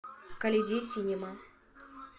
колизей синема